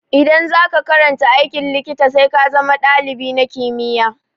Idan za ka karanta aikin likita, sai ka zama dalibi na kimiyya.